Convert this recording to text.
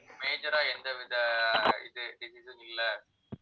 major ஆ எந்த வித ஆஹ் இது disease இல்லை